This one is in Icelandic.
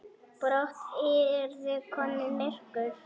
Brátt yrði komið myrkur.